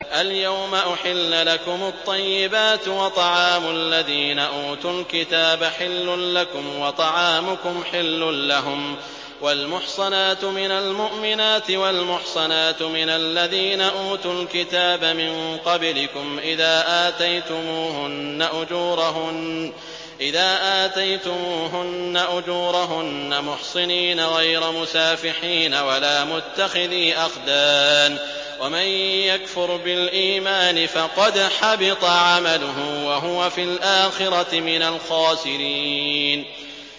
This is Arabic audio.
الْيَوْمَ أُحِلَّ لَكُمُ الطَّيِّبَاتُ ۖ وَطَعَامُ الَّذِينَ أُوتُوا الْكِتَابَ حِلٌّ لَّكُمْ وَطَعَامُكُمْ حِلٌّ لَّهُمْ ۖ وَالْمُحْصَنَاتُ مِنَ الْمُؤْمِنَاتِ وَالْمُحْصَنَاتُ مِنَ الَّذِينَ أُوتُوا الْكِتَابَ مِن قَبْلِكُمْ إِذَا آتَيْتُمُوهُنَّ أُجُورَهُنَّ مُحْصِنِينَ غَيْرَ مُسَافِحِينَ وَلَا مُتَّخِذِي أَخْدَانٍ ۗ وَمَن يَكْفُرْ بِالْإِيمَانِ فَقَدْ حَبِطَ عَمَلُهُ وَهُوَ فِي الْآخِرَةِ مِنَ الْخَاسِرِينَ